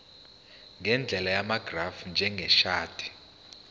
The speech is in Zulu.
ngendlela yamagrafu njengeshadi